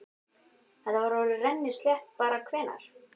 Þetta verður orðið rennislétt bara hvenær?